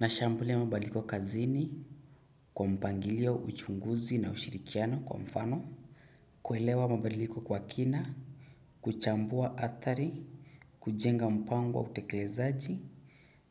Nashambulia mabadiliko kazini, kwa mpangilio, uchunguzi na ushirikiano, kwa mfano kuelewa mabadiliko kwa kina, kuchambua athari, kujenga mpango wa utekelezaji,